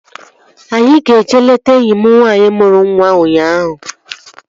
Anyị ga-eje leta enyi m nwaanyị mụrụ nwa ụnyaahụ